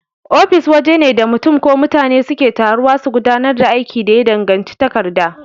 Ofis wajene da mutun ko mutane suke taruwa su gudanar da aikin da ya danganci takarda.